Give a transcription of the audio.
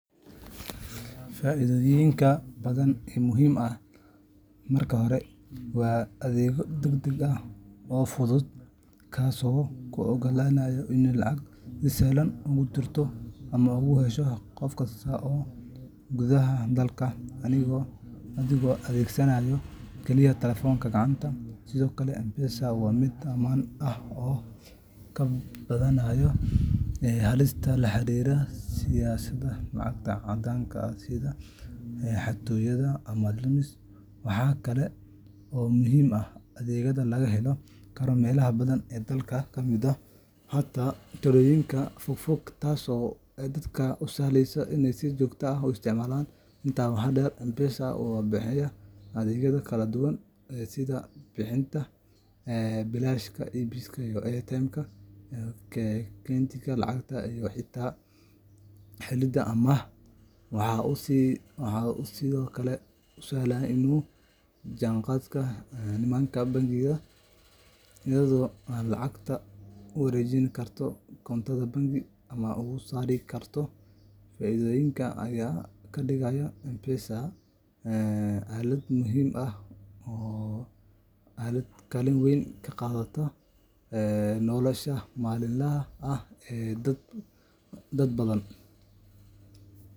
Isticmaalka M-Pesaga wuxuu leeyahay faa’iidooyin badan oo muhiim ah. Marka hore, waa adeeg degdeg ah oo fudud, kaasoo kuu oggolaanaya inaad lacag si sahlan ugu dirto ama uga hesho qof kasta gudaha dalka, adigoo adeegsanaya kaliya taleefan gacanta. Sidoo kale, M-Pesaga waa mid ammaan ah oo kaa badbaadinaya halista la xiriirta sidashada lacag caddaan ah, sida xatooyo ama lumis. Waxa kale oo muhiim ah in adeegga laga heli karo meelo badan oo dalka ka mid ah, xataa tuulooyinka fogfog, taasoo dadka u sahlaysa inay si joogto ah u isticmaalaan. Intaas waxaa dheer, M-Pesaga wuxuu bixiyaa adeegyo kala duwan sida bixinta biilasha, iibsiga airtime-ka, kaydinta lacag, iyo xitaa helidda amaah. Waxa uu sidoo kale si sahlan ula jaanqaadaa nidaamka bangiyada, iyadoo aad lacagtada uga wareejin karto koontadaada bangi ama uga soo saari karto. Faa’iidooyinkan ayaa ka dhigay M-Pesaga aalad muhiim ah oo kaalin weyn ka qaadata nolosha maalinlaha ah ee dad badan.